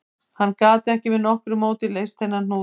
Hann gat ekki með nokkru móti leyst þennan hnút